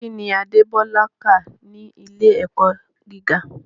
Kí ni Adébọ́lá kà ní ilé-ẹ̀kọ́ gíga?